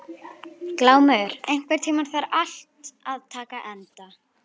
Glúmur, einhvern tímann þarf allt að taka enda.